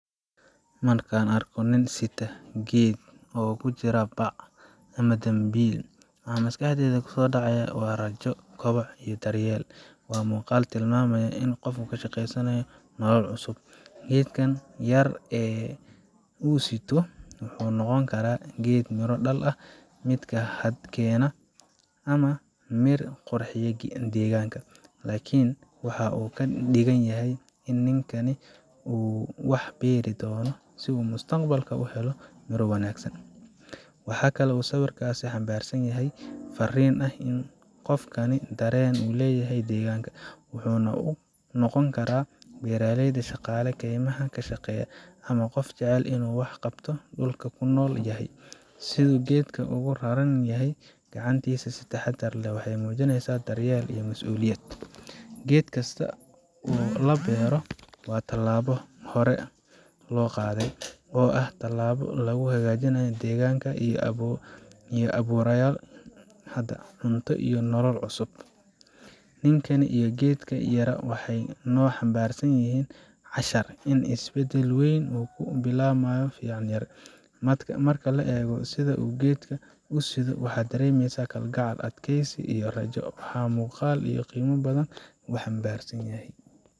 Markaan arko nin sita geed yar oo ku jira bac ama dambiil, waxa maskaxdayda kusoo dhacaya waa rajo, koboc iyo daryeel. Waa muuqaal tilmaamaya qof ka shaqeynaya nolol cusub. Geedkan yar ee uu siddo, wuxuu noqon karaa geed miro dhal ah, mid hadh keena, ama mid qurxiya deegaanka. Laakiin waxa uu ka dhigan yahay in ninkani uu wax beeri doono, si mustaqbalka uu u helo midho wanaagsan. Waxaa kale oo sawirkaasi xambaarsan yahay fariin ah in qofkani dareen u leeyahay deegaanka, wuxuuna noqon karaa beeraleyda, shaqaale kaymaha ka shaqeeya, ama qof jecel inuu wax u qabto dhulka uu ku nool yahay. Siduu geedka ugu raran yahay gacantiisa si taxaddar leh, waxay muujinaysaa daryeel iyo mas’uuliyad. Geed kasta oo la beero waa tallaabo hore loo qaaday oo ah tallaabo lagu hagaajinayo deegaanka, lagu abuurayo hadh, cunto, iyo nolol cusub. Ninkan iyo geedkan yaraa waxay noo xambaarsan yihiin cashar: in isbeddel weyn uu ka bilaabmo ficil yar. Marka la eego sida uu geedka u siddo, waxaad dareemaysaa kalgacal, adkaysi, iyo rajo. Waaxa muuqaal qiimo badan xambaarsan.